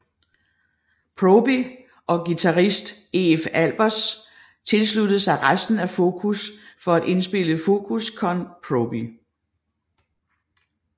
Proby og guitarist Eef Albers tilsluttede sig resten af Focus for at indspille Focus con Proby